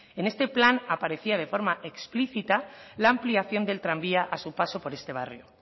en este plan aparecía de forma explícita la ampliación del tranvía a su paso por este barrio